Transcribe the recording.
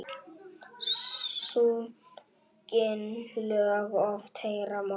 Sungin lög oft heyra má.